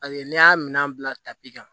Paseke n'i y'a minɛn bila tapi kan